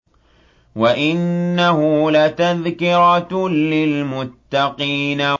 وَإِنَّهُ لَتَذْكِرَةٌ لِّلْمُتَّقِينَ